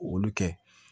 Olu kɛ